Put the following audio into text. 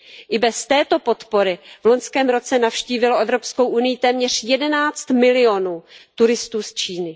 I bez této podpory v loňském roce navštívilo Evropskou unii téměř 11 milionů turistů z Číny.